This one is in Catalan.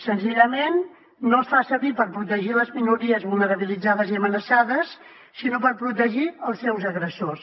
senzillament no es fa servir per protegir les minories vulnerabilitzades i amenaçades sinó per protegir els seus agressors